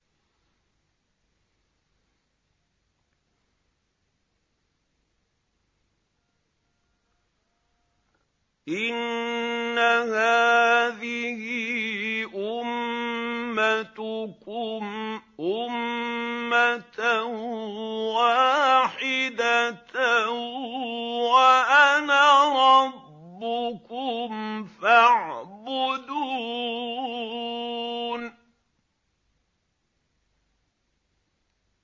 إِنَّ هَٰذِهِ أُمَّتُكُمْ أُمَّةً وَاحِدَةً وَأَنَا رَبُّكُمْ فَاعْبُدُونِ